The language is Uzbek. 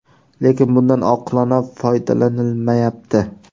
Lekin bundan oqilona foydalanilmayapti.